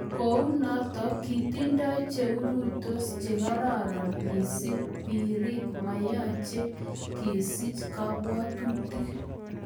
kounotok kitindoi cheurtos chekararan missing, pirik ago mayache kesich kabwatutik.